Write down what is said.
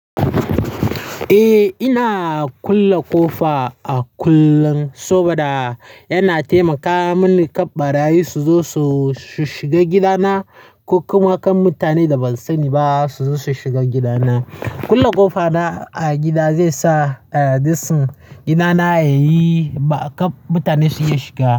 Eh, ina kulle ƙofa a kullun saboda yana taimaka mini kqnbarayi su zo su shiga gidana ko kuma kan mutane da ban sani ba su zo su shiga gidana. Kulle ƙofa na a gida zai sa, eh, dasun gidana yayi ba kan mutane su iya shiga.